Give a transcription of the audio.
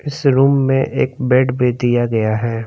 इस रूम में एक बेड भी दिया गया है।